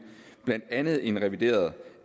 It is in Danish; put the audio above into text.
blandt andet en revideret